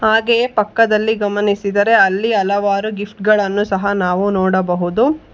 ಹಾಗೆಯೇ ಪಕ್ಕದಲ್ಲಿ ಗಮನಿಸಿದರೆ ಅಲ್ಲಿ ಹಲವಾರು ಗಿಫ್ಟ್ ಗಳನ್ನು ಸಹ ನಾವು ನೋಡಬಹುದು.